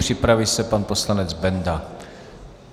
Připraví se pan poslanec Benda.